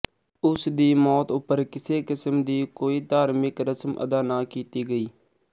ਉਸ ਦੀ ਮੌਤ ਉੱਪਰ ਕਿਸੇ ਕਿਸਮ ਦੀ ਕੋਈ ਧਾਰਮਿਕ ਰਸਮ ਅਦਾ ਨਾ ਕੀਤੀ ਗਈ